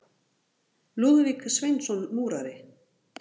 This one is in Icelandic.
Lúðvík Sveinsson múrari.